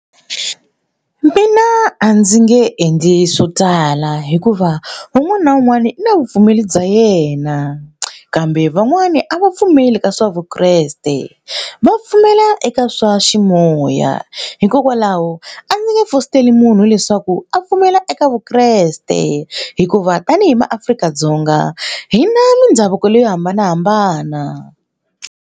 Mina a ndzi nge endli swo tala hikuva un'wana na un'wana i na vupfumeri bya yena kambe van'wani a va pfumeli ka swa vukreste va pfumela eka ka swa ximoya hikokwalaho a ndzi nge fositeli munhu leswaku a pfumela eka vukreste hikuva tanihi maAfrika-Dzonga hi na mindhavuko leyi yo hambanahambana.